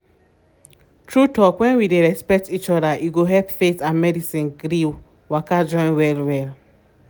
true talk when we dey respect each other e go help faith and medicine gree waka join well-well